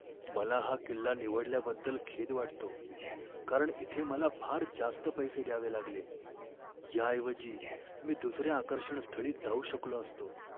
मला हा किल्ला निवडल्याबद्दल खेद वाटतो, कारण इथे मला फार जास्त पैसे द्यावे लागले, याऐवजी मी दुसऱ्या आकर्षणस्थळी जाऊ शकलो असतो.